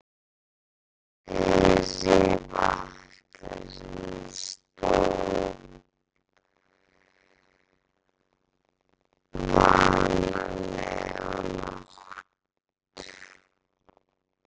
Hún teygði sig í vatnsglasið sem stóð vanalega á nátt